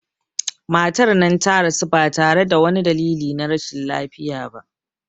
Matar nan ta rasu ba tare da wani dalili na rashin lafiya ba